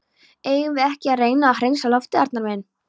Eigum við ekki að reyna að hreinsa loftið, Arnar minn?